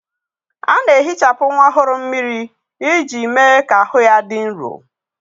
A na-ehichapụ nwa ọhụrụ mmiri iji mee ka ahụ ha dị nro.